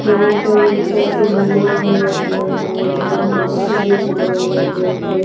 यहां पर मुक्ता सिनेमा अ है और बुक माय शो लिखा हुआ है बोर्ड पे--